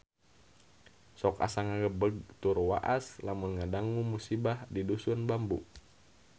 Sok asa ngagebeg tur waas lamun ngadangu musibah di Dusun Bambu